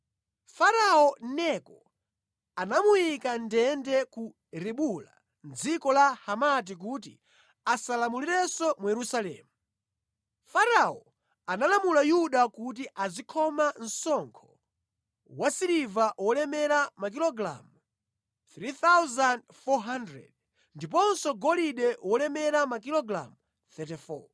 Farao Neko anamuyika mʼndende ku Ribula mʼdziko la Hamati kuti asalamulirenso mu Yerusalemu. Farao analamula Yuda kuti azikhoma msonkho wa siliva wolemera makilogalamu 3,400, ndiponso golide wolemera makilogalamu 34.